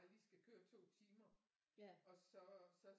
Bare lige skal køre 2 timer og så så